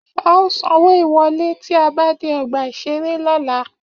A ó sanwó ìwọ́lé tí a bá dé ọgbà-ìṣeré lọ́la